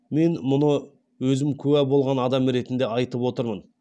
мен мұны өзім куә болған адам ретінде айтып отырмын